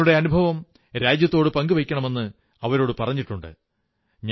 തങ്ങളുടെ അനുഭവം രാജ്യത്തോടു പങ്കുവയ്ക്കണമെന്ന് അവരോടു പറഞ്ഞിട്ടുണ്ട്